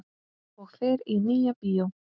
Og fer í Nýja bíó!